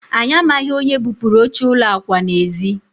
anyị amaghị onye bupuru oche ụlọ akwa n'ezi